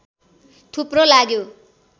थुप्रो लाग्यो